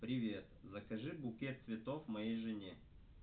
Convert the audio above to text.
привет закажи букет цветов моей жене